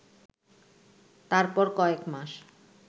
তারপর কয়েক মাস